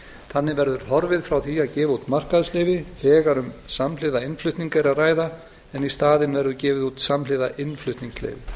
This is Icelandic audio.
þannig verður horfið frá því að gefa út markaðsleyfi þegar um samhliða innflutning er að ræða en í staðinn verður gefið út samhliða innflutningsleyfi